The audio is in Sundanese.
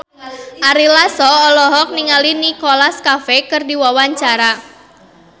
Ari Lasso olohok ningali Nicholas Cafe keur diwawancara